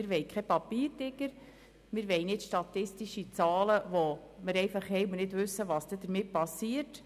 Wir wollen keinen Papiertiger und keine statistischen Zahlen, die wir dann einfach haben und von denen wir nicht wissen, was damit geschieht.